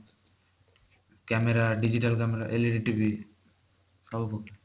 camera digital camera LED TV ସବୁ